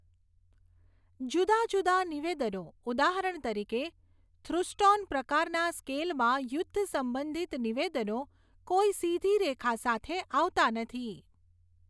જુદાં જુદાં નિવેદનો, ઉદાહરણ તરીકે, થૃસ્ટોન પ્રકારના સ્કેલમાં યુદ્ધ સંબંધિત નિવેદનો કોઈ સીધી રેખા સાથે આવતા નથી.